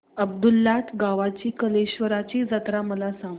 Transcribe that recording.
अब्दुललाट गावातील कलेश्वराची जत्रा मला सांग